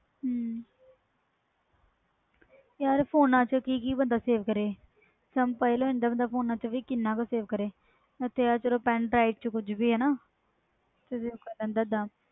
ਫੋਨਾਂ ਵਿਚ ਬੰਦਾ ਕਿ ਕਿ save ਕਰੇ ਇਹ ਤਾ pen drive ਵਿਚ ਬੰਦਾ ਕੁਛ ਵੀ